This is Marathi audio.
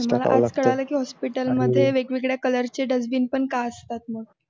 मला आज कळालं की hospital मध्ये वेगवेगळ्या colors dustbin पण का असतात म्हणून?